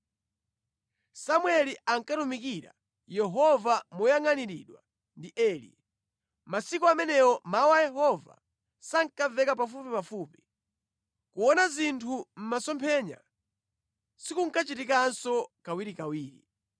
Samueli ankatumikira Yehova moyangʼaniridwa ndi Eli. Masiku amenewo mawu a Yehova sankamveka pafupipafupi. Kuona zinthu mʼmasomphenya sikunkachitikanso kawirikawiri.